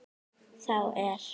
Þá er